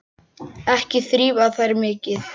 Ekki þrífa þær mikið.